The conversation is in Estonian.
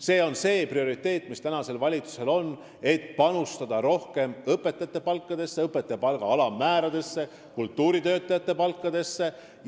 See on praeguse valitsuse üks prioriteete: panustada rohkem õpetajate palkadesse, sh alammääradesse, ja kultuuritöötajate palkadesse.